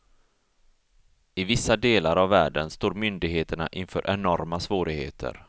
I vissa delar av världen står myndigheterna inför enorma svårigheter.